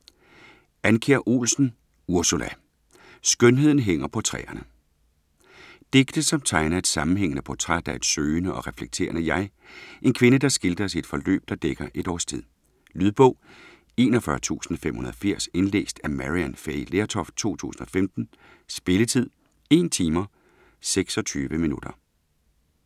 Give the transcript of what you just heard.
Andkjær Olsen, Ursula: Skønheden hænger på træerne Digte som tegner et sammenhængende portræt af et søgende og reflekterende jeg, en kvinde der skildres i et forløb der dækker et års tid. Lydbog 41580 Indlæst af Maryann Fay Lertoft, 2015. Spilletid: 1 timer, 26 minutter.